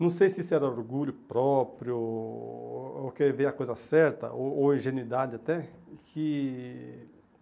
Não sei se isso era orgulho próprio, ou ou querer a coisa certa, ou ou ingenuidade até que.